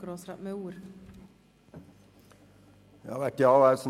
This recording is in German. Wir sind deshalb gegen eine Rückweisung.